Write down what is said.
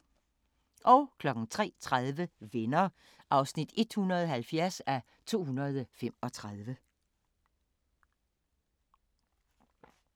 03:30: Venner (170:235)